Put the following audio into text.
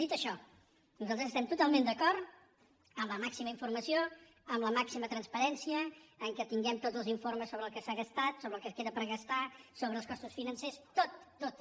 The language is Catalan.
dit això nosaltres estem totalment d’acord amb la màxima informació amb la màxima transparència que tinguem tots els informes sobre el que s’ha gastat sobre el que queda per gastar sobre els costos financers tot tot